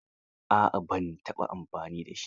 A'a ban taɓa amfani da shi ba.